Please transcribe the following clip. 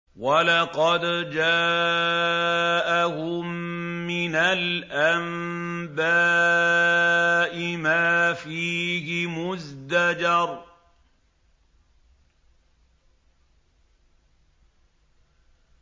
وَلَقَدْ جَاءَهُم مِّنَ الْأَنبَاءِ مَا فِيهِ مُزْدَجَرٌ